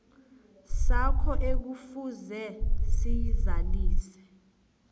sakho ekufuze siyizalise